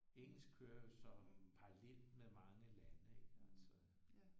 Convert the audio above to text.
Engelsk kører jeg jo så parallelt med mange lande ik altså